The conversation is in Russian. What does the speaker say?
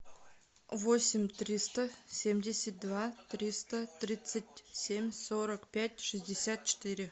восемь триста семьдесят два триста тридцать семь сорок пять шестьдесят четыре